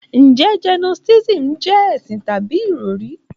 Njẹ Gnotisísìm jẹ́ ẹ̀sìn tàbí ìròrí?